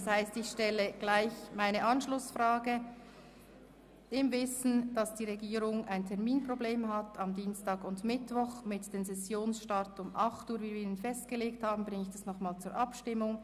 Im Wissen darum, dass die Regierung am Dienstag und Mittwoch ein Terminproblem mit dem vorhin festgelegten Sessionsstart um 8.00 Uhr hat, bringe ich die entsprechenden Anträge noch einmal zur Abstimmung.